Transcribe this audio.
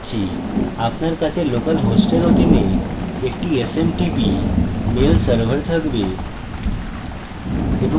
আপনার কাছে local host অধীনে একটি smtp mail server থাকবে